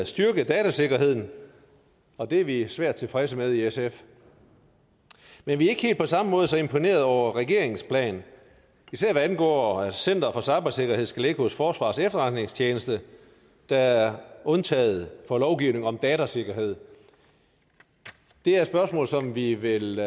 styrke datasikkerheden og det er vi svært tilfredse med i sf men vi er ikke helt på samme måde så imponerede over regeringens plan især hvad angår center for cybersikkerhed som skal ligge hos forsvarets efterretningstjeneste der er undtaget fra lovgivning om datasikkerhed det er et spørgsmål som vi vil